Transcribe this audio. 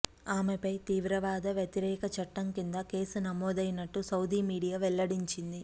ఆమెపై తీవ్రవాద వ్యతిరేక చట్టం కింద కేసు నమోదయినట్టు సౌదీ మీడియా వెల్లడించింది